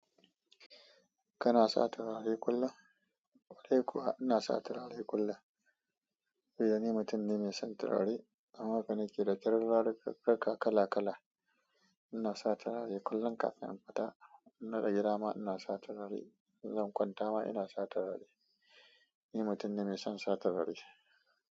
Kana sa turare kullum? Kwarai kuwa ina sa turare kullum. Eh ni mutum ne mai son turare. Amma haka nake da turaruka kala kala. Ina sa turare kullum kafin in fita. Inna ga dama ina sa turare in zan kwanta ina sa turare ni mutum ne mai son turare.